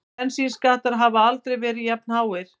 Bensínskattar hafa aldrei verið jafnháir